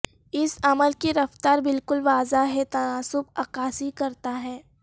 اس عمل کی رفتار بالکل واضح ہے تناسب عکاسی کرتا ہے